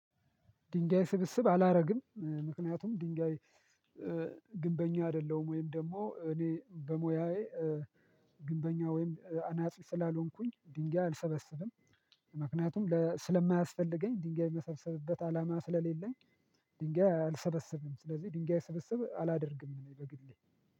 ድንጋይ ስብስብ አላደርግም። ምክንያቱም ድንጋይ ግንበኛ አይደለሁም ወይም ደግሞ እኔ በሞያዬ ግንበኛ ወይም አናጺ ስላልሆንኩኝ ድንጋይ አልሰበስብም። ምክንያቱም ስለማያስፈልገኝ ድንጋይ የምሰብሰብበት አላማ ስለሌለኝ ድንጋይ አልሰበስብም ስለዚህ ድንጋይ ስብስብ አላደርግም በግሌ።